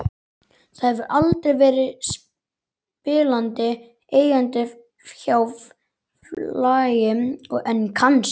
Það hefur aldrei verið spilandi eigandi hjá félagi en kannski?